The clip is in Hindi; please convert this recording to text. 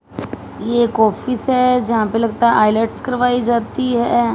ये एक ऑफिस है जहां पे लगता है करवाई जाती है।